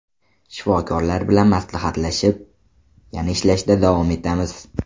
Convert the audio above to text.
Shifokorlar bilan maslahatlashib, yana ishlashda davom etamiz.